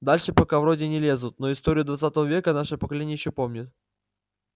дальше пока вроде не лезут но историю двадцатого века наше поколение ещё помнит